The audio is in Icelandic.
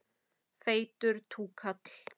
Feitur túkall.